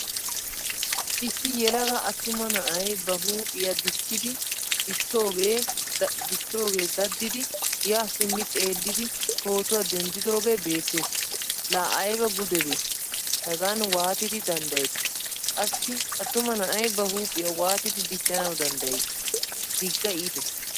Issi yelaga attuma na'ay ba huuphphiyaa dichchidi dichchoga daddidi ya simmi xeelidi pootuwaa denddidoge beetees. La ayba gudebe hegan waatidi danddayetti? Qassi attuma na'ay ba huuphphiyaa waatidi dichchanawu danddayi? Digga iitees.